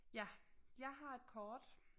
Ja jeg har et kort